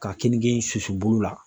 Ka keninke in susu bolo la